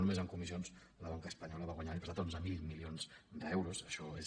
només en comissions la banca espanyola va guanyar l’any passat onze mil milions d’euros això és